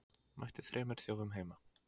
Mætti þremur þjófum heima